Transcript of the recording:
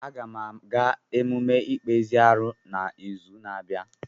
Aga m aga emume ikpezi arụ n'izu na-abịa.